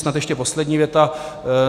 Snad ještě poslední věta.